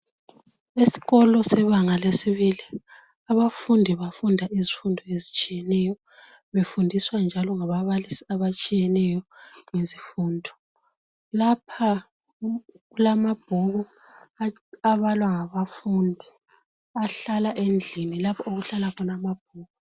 Esikolo sebanga lesibili. Abafundi bafunda izifundo ezitshiyeneyo, befundiswa njalo ngababalisi abatshiyeneyo ngezifundo. Lapha kulamabhuku abalwa ngabafundi, ahlala endlini lapho okuhlala khona amabhuku.